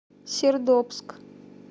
сердобск